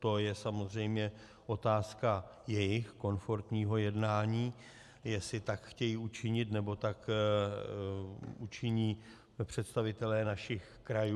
To je samozřejmě otázka jejich komfortního jednání, jestli tak chtějí učinit, nebo tak učiní představitelé našich krajů.